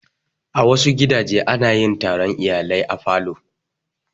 A wasu gidaje ana yin taron iyalai a falo.